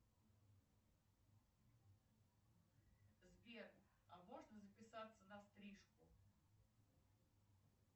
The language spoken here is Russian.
сбер а можно записаться на стрижку